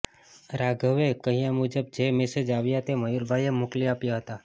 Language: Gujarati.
રાઘવે કહ્યા મુજબ જે મેસેજ આવ્યા તે મયૂરભાઈએ મોકલી આપ્યાં હતાં